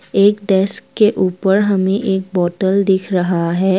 एक डेस्क के ऊपर हमें एक बोतल दिख रहा है।